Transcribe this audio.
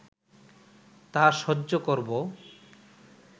তা সহ্য করব